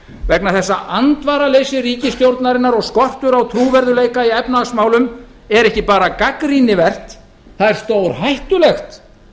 vegna þess að andvaraleysi ríkisstjórnarinnar og skortur á trúverðugleika í efnahagsmálum er ekki bara gagnrýnivert það er stórhættulegt